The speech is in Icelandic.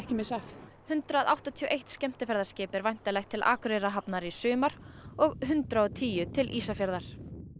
missa af hundrað áttatíu og eitt skemmtiferðaskip er væntanlegt til Akureyrarhafnar í sumar og hundrað og tíu til Ísafjarðar